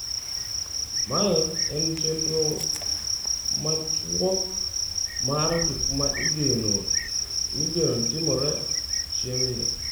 Mae en chenro machuok mar gik ma igeno timore chieng’no.